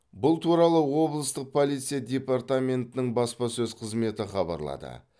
бұл туралы облыстық полиция департаментінің баспасөз қызметі хабарлады